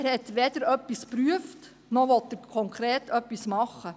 Er hat weder etwas geprüft, noch will er konkret etwas tun.